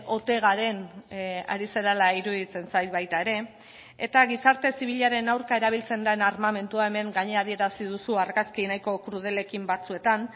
ote garen ari zarela iruditzen zait baita ere eta gizarte zibilaren aurka erabiltzen den armamentua hemen gainera adierazi duzu argazki nahiko krudelekin batzuetan